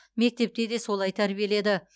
мектепте де солай тәрбиеледі